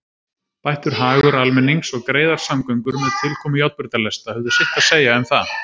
Bættur hagur almennings og greiðar samgöngur með tilkomu járnbrautarlesta höfðu sitt að segja um það.